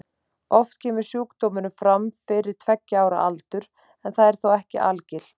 Oft kemur sjúkdómurinn fram fyrir tveggja ára aldur en það er þó ekki algilt.